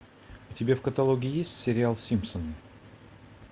у тебя в каталоге есть сериал симпсоны